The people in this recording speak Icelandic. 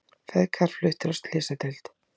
Feðgar fluttir á slysadeild